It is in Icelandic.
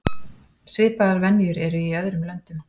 Svipaðar venjur eru í öðrum löndum.